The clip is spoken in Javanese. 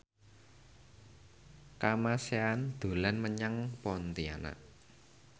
Kamasean dolan menyang Pontianak